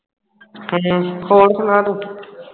ਅੱਛਾ, ਹੋਰ ਸੁਣਾ ਤੂੰ